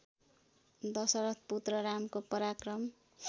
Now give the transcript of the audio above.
दशरथ पुत्र रामको पराक्रम